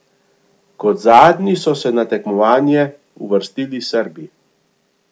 Kot zadnji so se na tekmovanje uvrstili Srbi.